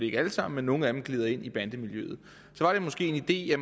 ikke alle sammen men nogle af dem glider ind i bandemiljøet så var det måske en ide at